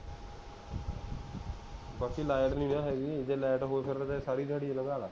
ਬਾਕੀ ਲਾਈਟ ਨੀ ਨਾ ਹੈਗੀ, ਜੇ ਲਾਈਟ ਹੋਵੇ ਫੇਰ ਤਾਂ ਮੈਂ ਸਾਰੀ ਦਿਹਾੜੀ ਹੀ ਲੰਘਾ ਦਵਾਂ